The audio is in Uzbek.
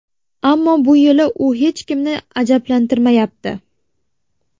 Ammo bu yili u hech kimni ajablantirmayapti.